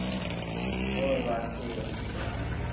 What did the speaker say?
ਹੋਰ ਬਸ ਠੀਕ।